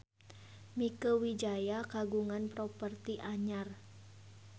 Mieke Wijaya kagungan properti anyar